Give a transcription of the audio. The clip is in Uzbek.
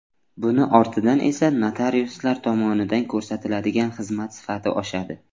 Buni ortidan esa notariuslar tomonidan ko‘rsatiladigan xizmat sifati oshadi.